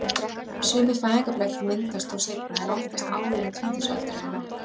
Sumir fæðingarblettir myndast þó seinna en oftast áður en tvítugsaldri er náð.